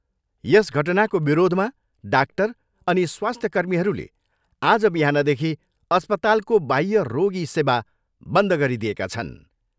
यस घटनाको विरोधमा डाक्टर अनि स्वास्थ्यकर्मीहरूले आज बिहानदेखि अस्पतालको बाह्य रागी सेवा बन्द गरिदिएका छन्।